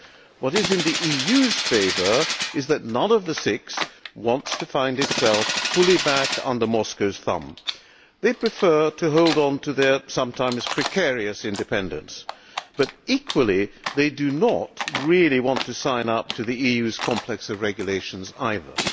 What is in the EU's favour is that none of the six wants to find itself fully back under Moscow's thumb. They prefer to hold on to their sometimes precarious independence, but equally they do not really want to sign up to the EU's complex of regulations either.